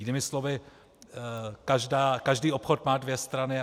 Jinými slovy, každý obchod má dvě strany.